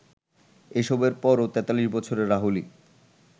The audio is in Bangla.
এসবের পরও ৪৩ বছরের রাহুলই